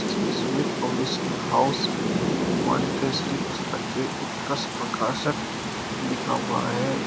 Sumit publishing house Montessori पुस्तक के उत्कर्ष प्रकाशक लिखा हुआ है।